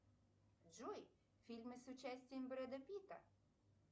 джой фильмы с участием брэда питта